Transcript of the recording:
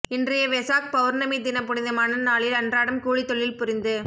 இன்றைய வெசாக் பௌர்ணமி தின புனிதமான நாளில் அன்றாடம் கூலித் தொழில் புரிந்து